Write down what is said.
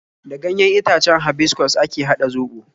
Da ganyen itacen habiskus ake haɗa zobo